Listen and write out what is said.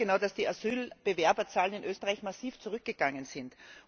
Sie wissen ganz genau, dass die Asylbewerberzahlen in Österreich massiv zurückgegangen sind.